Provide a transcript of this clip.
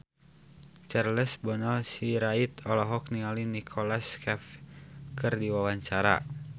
Charles Bonar Sirait olohok ningali Nicholas Cafe keur diwawancara